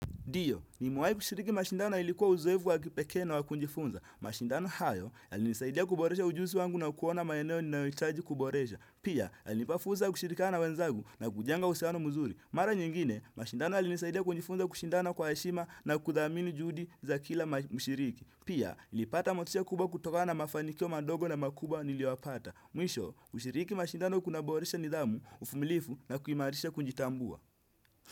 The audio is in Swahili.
Ndio nimewahi kushiriki mashindano na ilikuwa uzoevu wa kipeke na wa kunjifunza. Mashindano hayo, yalinisaidia kuboresha ujuzi wangu na kuona maeneo ni ninayohitaji kuboresha. Pia, alinipafuza kushirikiana na wenzagu na kujenga uhusiano muzuri. Mara nyingine, mashindano yalinisaidia kujifunza kushindana kwa heshima na kuthamini juhudi za kila mshiriki. Pia, nilipata motisa kubwa kutokana mafanikio madogo na makubwa nilioyapata. Mwisho, kushiriki mashindano kuna boresha nidhamu, ufumilifu na kuhimarisha kunjitambua.